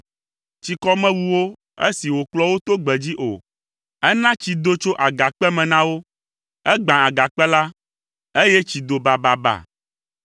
Tsikɔ mewu wo esi wòkplɔ wo to gbedzi o. Ena tsi do tso agakpe me na wo. Egbã agakpe la, eye tsi do bababa.